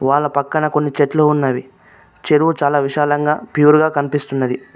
వాళ్ల పక్కన కొన్ని చెట్లు ఉన్నవి చెరువు చాలా విశాలంగా ప్యూర్ గా కనిపిస్తున్నది.